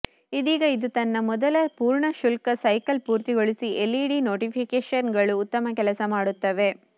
ಇದೀಗ ಇದು ತನ್ನ ಮೊದಲ ಪೂರ್ಣ ಶುಲ್ಕ ಸೈಕಲ್ ಪೂರ್ತಿಗೊಳಿಸಿ ಎಲ್ಇಡಿ ನೋಟಿಫಿಕೇಶನ್ಗಳು ಉತ್ತಮ ಕೆಲಸ ಮಾಡುತ್ತವೆ